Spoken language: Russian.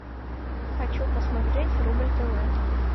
хочу посмотреть рубль тв